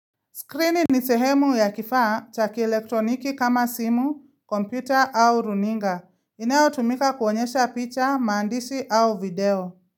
Screen ni sehemu ya kifaa cha kielektroniki kama simu, kompyuta au runinga. Inayotumika kuonyesha picha, maandishi au video.